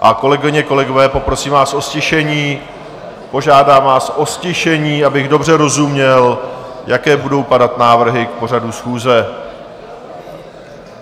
A kolegyně, kolegové, poprosím vás o ztišení, požádám vás o ztišení, abych dobře rozuměl, jaké budou padat návrhy k pořadu schůze.